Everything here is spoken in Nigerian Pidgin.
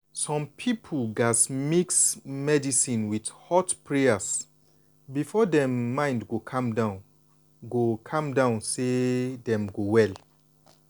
some people gas mix medicine with hot prayers before dem mind go calm go calm down say dem go well.